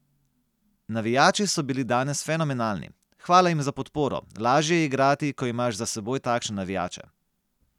Navijači so bili danes fenomenalni, hvala jim za podporo, lažje je igrati, ko imaš za seboj takšne navijače.